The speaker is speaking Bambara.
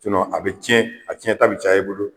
a be tiɲɛ, a tiɲɛ ta be caya i bolo